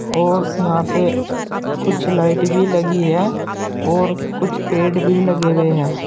और यहां पे कुछ लाइट भी लगी है और कुछ पेड़ भी लगे हुए है।